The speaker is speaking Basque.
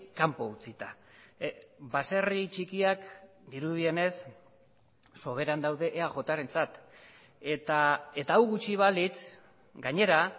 kanpo utzita baserri txikiak dirudienez soberan daude eajrentzat eta hau gutxi balitz gainera